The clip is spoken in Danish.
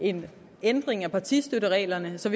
en ændring af partistøttereglerne så